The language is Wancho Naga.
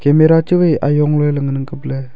mela chuwai ayong leley ngan ang kapley.